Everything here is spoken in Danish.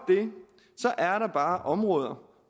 er der bare områder